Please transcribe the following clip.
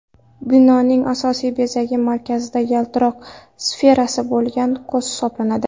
Binoning asosiy bezagi markazida yaltiroq sferasi bo‘lgan ko‘z hisoblanadi.